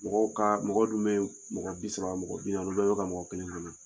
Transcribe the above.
Mɔgɔw ka mɔgɔ dun bɛ yen mɔgɔ bi saba mɔgɔ bi naani olu bɛɛ bɛ ta mɔgɔ kelen bolo.